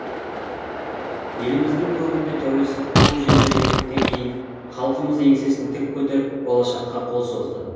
еліміздің көгінде тәуелсіздік туы желбірегендіктен кейін халқымыз еңсесін тік көтеріп болашаққа қол созды